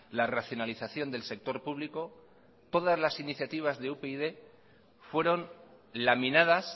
la racionalización del sector público todas las iniciativas de upyd fueron laminadas